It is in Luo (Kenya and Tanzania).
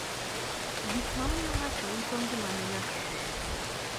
gik mamiyo ngato wito ngimane nyaka nge